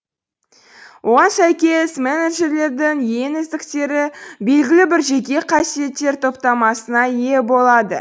оған сәйкес менеджерлердің ең үздіктері белгілі бір жеке қасиеттер топтамасына ие болады